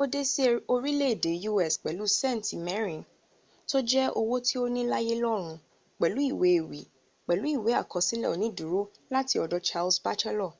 o de si orile ede us pelu senti 4 to je owo to ni laye lorun pelu iwe ewi pelu iwe akosile oniduro lati odo charles batchelor